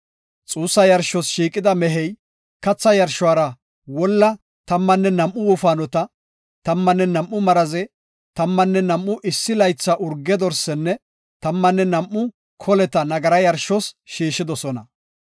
Xuussa yarshos shiiqida mehey katha yarshuwara wolla tammanne nam7u wofaanota, tammanne nam7u maraze, tammanne nam7u issi laytha urge dorsinne, tammanne nam7u koleta nagara yarshos shiishidosona.